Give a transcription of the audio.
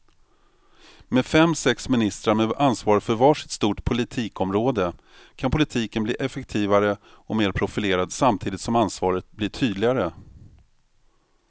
Med fem, sex ministrar med ansvar för var sitt stort politikområde kan politiken bli effektivare och mer profilerad samtidigt som ansvaret blir tydligare.